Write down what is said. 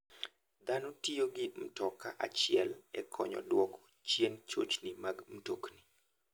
Dhano tiyo gi mtoka achiel e konyo e duoko chien chochni mag mtokni.